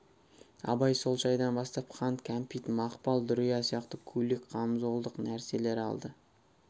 абай сол шайдан бастап қант кәмпит мақпал дүрия сияқты көйлек қамзолдық нәрселер алды